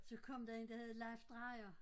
Så kom der en der hed Leif Drejer